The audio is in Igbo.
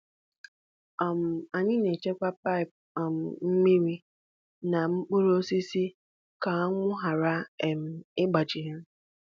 um Anyị na-echekwa paịp um mmiri n’okpuru osisi ka anwụ ghara um ịgbaji ha.